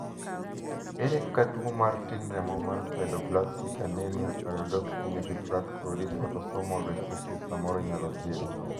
ere kaka tuo tin remo mar sideroblastic anemia pyridoxine refractory autosomal recessive samoro inyalo thiedhi?